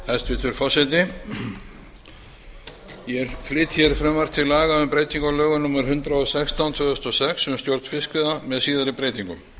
hæstvirtur forseti ég flyt frumvarp til laga um breytingu á lögum númer hundrað og sextán tvö þúsund og sex um stjórn fiskveiða með síðari breytingum